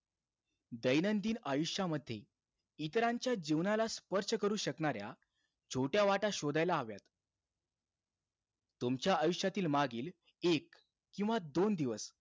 दैनंदिन आयुष्यामध्ये, इतरांच्या जीवनाला स्पर्श करू शकणाऱ्या, छोट्या वाटा शोधायला हव्या. तुमच्या आयुष्यातील मागील एक किंवा दोन दिवस,